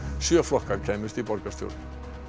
sjö flokkar kæmust í borgarstjórn